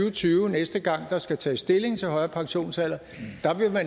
og tyve næste gang der skal tages stilling til højere pensionsalder